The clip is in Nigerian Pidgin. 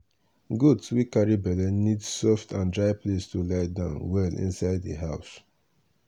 goat wey carry belle need soft and dry place to lie down well inside di house.